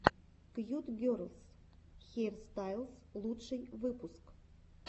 кьют герлс хейрстайлс лучший выпуск